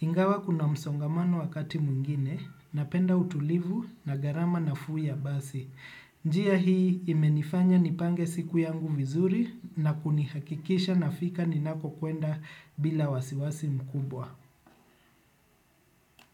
Ingawa kuna msongamano wakati mwingine, napenda utulivu na gharama nafuu ya basi. Njia hii imenifanya nipange siku yangu vizuri na kunihakikisha nafika ninapokwenda bila wasiwasi mkubwa.